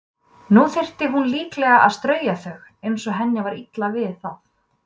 Nú þyrfti hún líklega að strauja þau, eins og henni var illa við það.